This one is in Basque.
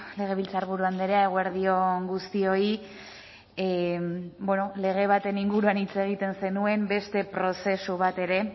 legebiltzarburu andrea eguerdi on guztioi lege baten inguruan hitz egiten zenuen beste prozesu bat ere